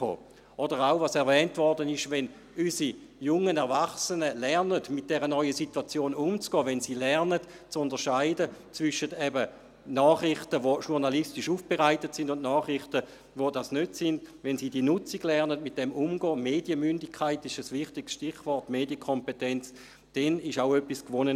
Oder was auch erwähnt wurde: Wenn unsere jungen Erwachsenen mit dieser neuen Situation umzugehen lernen, wenn sie zu unterscheiden lernen zwischen Nachrichten, die eben journalistisch aufbereitet sind, und Nachrichten, die es nicht sind – wenn sie diese Nutzung lernen, damit umzugehen lernen, wobei Medienmündigkeit und Medienkompetenz wichtige Stichworte sind –, dann ist auf diesem Weg auch etwas gewonnen.